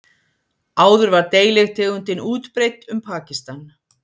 áður var deilitegundin útbreidd um pakistan